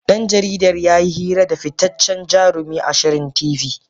Dan jaridar yayi hira da fitaccen jarumin a shirin T.V